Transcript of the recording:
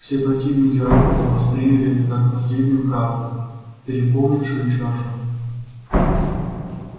все противники роботов восприняли это как последнюю каплю переполнившую чашу